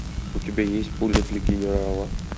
у тебя есть пуля для генерала